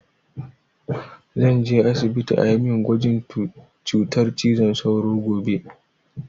Zan je asibiti a yi min gwajin cutar cizon sauro gobe